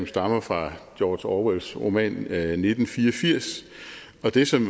stammer fra george orwells roman nitten fire og firs og det som